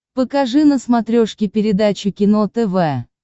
покажи на смотрешке передачу кино тв